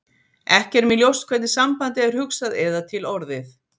ekki er mér ljóst hvernig sambandið er hugsað eða til orðið